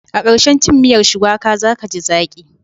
A ƙarshen cin miyar shuwaka za ka ji zaƙi.